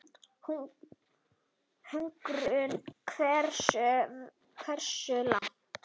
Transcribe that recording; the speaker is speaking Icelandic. Hugrún: Hversu, hversu langt?